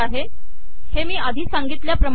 हे मी आधी सांगितल्याप्रमाणे आहे